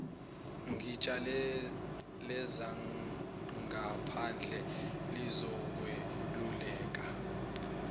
igatsha lezangaphandle lizokweluleka